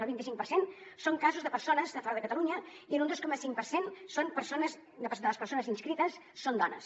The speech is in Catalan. el vint i cinc per cent són casos de persones de fora de catalunya i un dos coma cinc per cent de les persones inscrites són dones